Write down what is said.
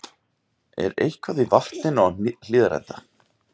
Er eitthvað í vatninu á Hlíðarenda?